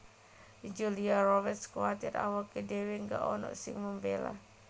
Julia Roberts kuwatir awake dhewe gak onok sing mbela